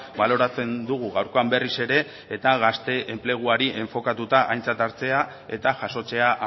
baloratzen dugu gaurkoan berriz ere eta gazte enpleguari enfokatuta aintzat hartzea eta jasotzea